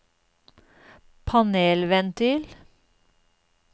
panelventil